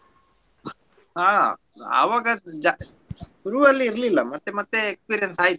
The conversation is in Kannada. ಹಾ ಅವಾಗ ಜಾ~ ಶುರುವಲ್ಲಿ ಇರ್ಲಿಲ್ಲ ಮತ್ತೆ ಮತ್ತೆ experience ಆಯ್ತು.